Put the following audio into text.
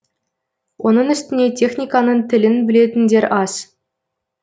оның үстіне техниканың тілін білетіндер аз